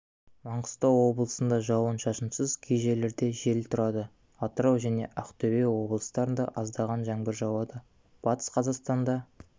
маңғыстау облысында жауын-шашынсыз кей жерлерде жел тұрады атырау және ақтөбе облыстарында аздаған жаңбыр жауады батыс қазақстанда